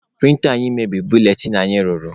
Prịnta anyị mebiri buletịn anyị rụrụ.